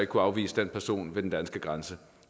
kunne afvise den person ved den danske grænse